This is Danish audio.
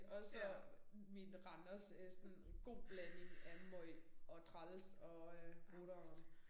Og så min Randers øh sådan god blanding af meget og træls og øh 8'eren